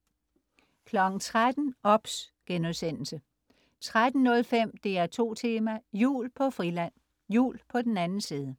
13.00 OBS* 13.05 DR2 Tema: Jul på Friland. Jul på den anden side